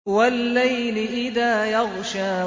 وَاللَّيْلِ إِذَا يَغْشَىٰ